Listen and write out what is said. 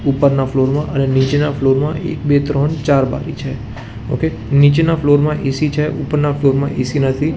ઉપરના ફ્લોર માં અને નીચેના ફ્લોર માં એક બે ત્રણ ચાર બારી છે ઓકે નીચેના ફ્લોર માં એ_સી છે ઉપરના ફ્લોર માં એ_સી નથી.